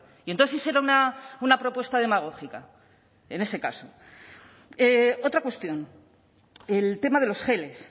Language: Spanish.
y entonces sí será una propuesta demagógica en ese caso otra cuestión el tema de los geles